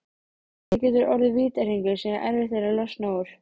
Þetta getur orðið vítahringur sem erfitt er að losna úr.